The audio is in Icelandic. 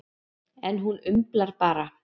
En hún umlar bara.